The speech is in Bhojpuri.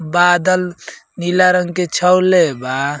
बादल नीला रंग के छवले बा।